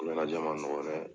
Ɲɛnajɛ ma nɔgɔ dɛ